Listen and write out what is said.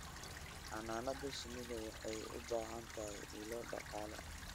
Xannaanada shinnidu waxay u baahan tahay ilo dhaqaale.